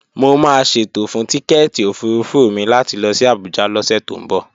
Mo máa ṣètò fún tíkẹ́èti òfurufú mi láti lọ sí Abuja lọ́sẹ̀ tó ń bọ̀